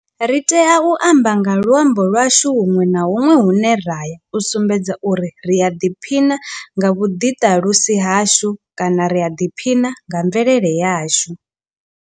Ri tea u amba nga luambo lwashu huṅwe na huṅwe hune ra ya u sumbedza uri ri a ḓiphina nga vhuḓiṱalusi hashu kana ri a ḓiphina nga mvelele yashu.